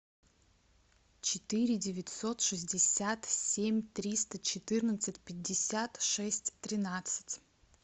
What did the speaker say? четыре девятьсот шестьдесят семь триста четырнадцать пятьдесят шесть тринадцать